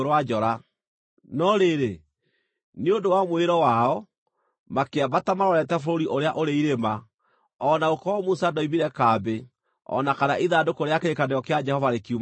No rĩrĩ, nĩ ũndũ wa mwĩĩro wao, makĩambata marorete bũrũri ũrĩa ũrĩ irĩma o na gũkorwo Musa ndoimire kambĩ o na kana ithandũkũ rĩa kĩrĩkanĩro kĩa Jehova rĩkiuma kambĩ.